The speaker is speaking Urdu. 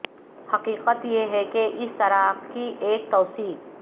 حقیقت یہ ہے کہ اس طرح کی ایک توسیع